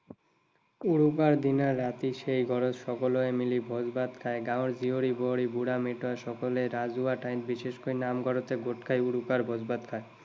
উৰুকাৰ দিনা ৰাতি সেই ঘৰত সকলোৱে মিলি ভোজ ভাত খায়। গাঁৱৰ জীয়ৰী বোৱাৰী, বুঢ়া মেথা সকলে ৰাজহুৱা ঠাই, বিশেষকৈ নামঘৰতে গোট খাই উৰুকাৰ ভোজ ভাত খায়।